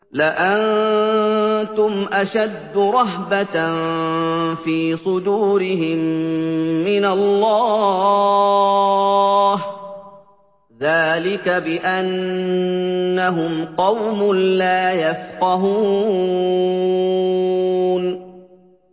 لَأَنتُمْ أَشَدُّ رَهْبَةً فِي صُدُورِهِم مِّنَ اللَّهِ ۚ ذَٰلِكَ بِأَنَّهُمْ قَوْمٌ لَّا يَفْقَهُونَ